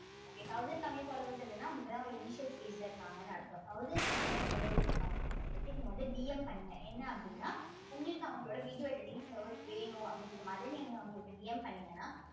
okay thousand கம்மி followers இருந்துதுன்னா அவுங்க இப்பதான் ஒரு stage ல இருக்காங்கன்னு அர்த்தம் thousand கம்மியா followers இருக்கவுங்க கிட்ட போயிட்டு நீங்க வந்து DM பண்ணுங்க என்ன அப்படின்னா உங்களுக்கு அவுங்களோட video editing service வேணும் அப்படிங்கற மாதிரி நீங்க அவுங்களுக்கு DM பண்ணீங்கன்னா